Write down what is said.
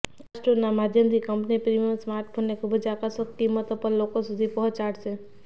આ સ્ટોરના માધ્યમથી કંપની પ્રીમિયમ સ્માર્ટફોનને ખૂબ જ આકર્ષક કિંમતો પર લોકો સુધી પહોંચાડશે